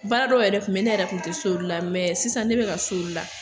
Baara dɔw yɛrɛ tun bɛ ne yɛrɛ tun tɛ s'olu la, mɛ sisan ne bɛ ka s'olu la.